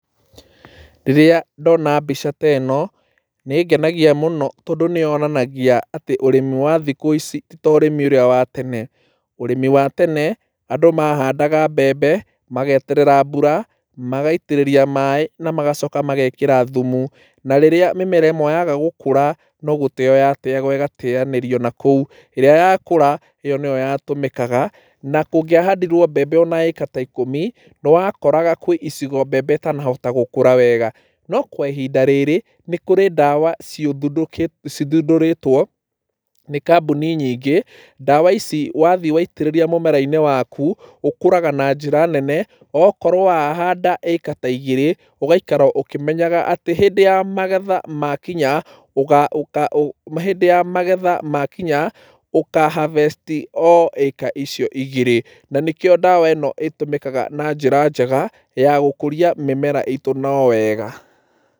Rĩrĩa ndona mbica teno, nĩ ĩngenagia mũno tondũ nĩ yonanagia atĩ ũrĩmi wa thikũ ici tito ũrĩmi ũrĩa wa tene. Ũrĩmi wa tene, andũ mahandaga mbembe, mageterera mbura, magaitĩrĩria maaĩ na magacoka magekĩra thumu, na rĩrĩa mĩmera ĩmwe yaga gũkũra no gũteyo yateagwo ĩgateyanĩrio nakũu, ĩrĩa yakũra ĩyo nĩyo yatũmĩkaga na kũngĩahandirwo mbembe ona ĩka ta ikũmi, nĩwakoraga kwĩ icigo mbembe itanahota gũkũra wega. No kwa ihinda rĩrĩ, nĩ kũrĩ ndawa ciuthundũkĩ, cithundũrĩtwo nĩ kambuni nyingĩ, ndawa ici wathiĩ waitĩrĩria mũmera-inĩ waku, ũkũraga na njĩra nene, okorwo wahanda ĩka ta igĩrĩ ũgaikara ũkĩmenyaga atĩ hĩndĩ ya magetha makinya ũga, ũka,ũ, hĩndĩ ya magetha makinya, ũka harvest o ĩka icio igĩrĩ. Na nĩkĩo ndawa ĩno ĩtũmĩkaga na njĩra njega, ya gũkũria mĩmera itũ no wega.